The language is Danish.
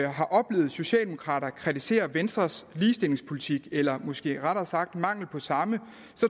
har oplevet socialdemokrater kritisere venstres ligestillingspolitik eller måske rettere sagt mangel på samme